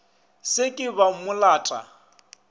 se ke ba mo lata